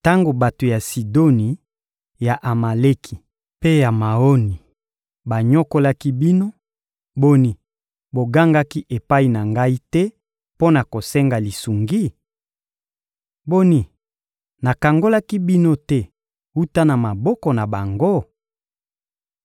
Tango bato ya Sidoni, ya Amaleki mpe ya Maoni banyokolaki bino, boni, bogangaki epai na Ngai te mpo na kosenga lisungi? Boni, nakangolaki bino te wuta na maboko na bango?